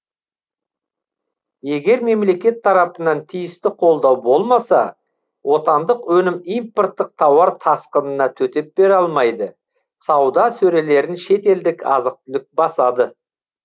егер мемлекет тарапынан тиісті қолдау болмаса отандық өнім импорттық тауар тасқынына төтеп бере алмайды сауда сөрелерін шетелдік азық түлік басады